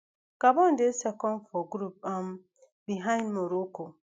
gabon dey second for group um b behind morocco